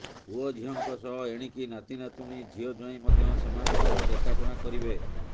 ପୁଅ ଝିଅଙ୍କ ସହ ଏଣିକି ନାତି ନାତୁଣୀ ଝିଅ ଜ୍ୱାଇଁ ମଧ୍ୟ ସେମାନଙ୍କର ଦେଖାଶୁଣା କରିବେ